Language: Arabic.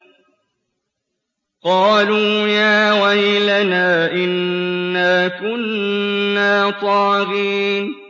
قَالُوا يَا وَيْلَنَا إِنَّا كُنَّا طَاغِينَ